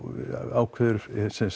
ákveður